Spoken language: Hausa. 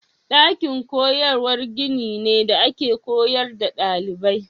Dakin koyarwa gini ne da ake koyar da dalibai.